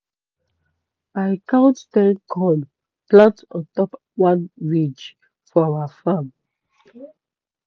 i count ten corn plant ontop one ridges for our farm.